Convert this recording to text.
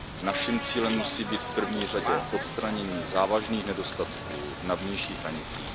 Naším cílem musí být v první řadě odstranění závažných nedostatků na vnějších hranicích.